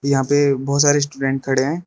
यहां पे बहुत सारे स्टूडेंट खड़े हैं।